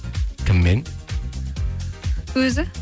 кіммен өзі